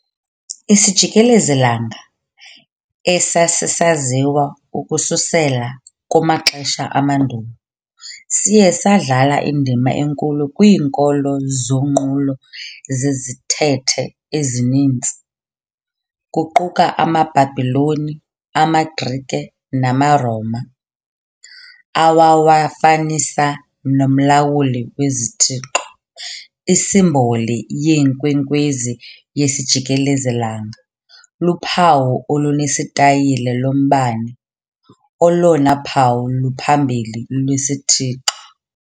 Isijikelezi-langa, esasisaziwa ukususela kumaxesha amandulo, siye sadlala indima enkulu kwiinkolo zonqulo zezithethe ezininzi, kuquka amaBhabhiloni, amaGrike namaRoma, awawafanisa nomlawuli wezithixo. Isimboli yeenkwenkwezi yesijikelezi-langa luphawu olunesitayile lombane, olona phawu luphambili lwesithixo.